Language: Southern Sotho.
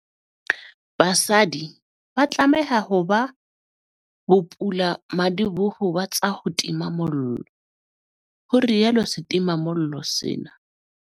BASADI ba tlameha ho ba bopulamadiboho ba tsa ho tima mollo, ho rialo setimamollo sena.